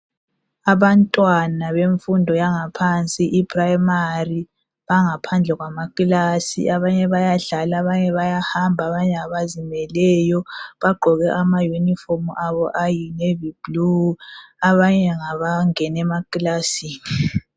Abantwana bemfundo yaphansi iprimary bangaphandle kwamakilasi abanye bayadlala abanye bayahamba abanye ngabazimeleyo bagqoke ama uniform abo ayi navy blue abanye ngabangena emakilasini.